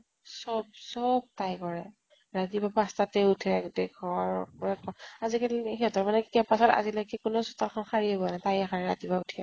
চব চব তাই কৰে। ৰাতিপুৱা পাছঁটাতে উঠে গোতেই ঘৰ আজি কালি সিহঁতৰ মানে কি campus ৰ কোনেও চোতাল খন সাঁৰিয়ে পোৱা নাই। তাইয়ে সাঁৰে ৰাতিপুৱা উঠিয়ে।